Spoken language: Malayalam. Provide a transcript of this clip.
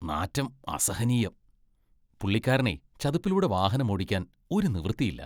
നാറ്റം അസഹനീയം. പുള്ളിക്കാരനെ ചതുപ്പിലൂടെ വാഹനമോടിക്കാൻ ഒരു നിവൃത്തിയില്ല.